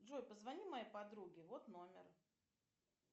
джой позвони моей подруге вот номер